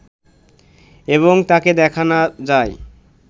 এবং তাকে দেখা না-যায়